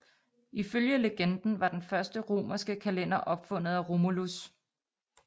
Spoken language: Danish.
Ifølge legenden var den første romerske kalender opfundet af Romulus